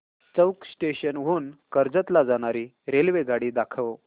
चौक station हून कर्जत ला जाणारी रेल्वेगाडी दाखव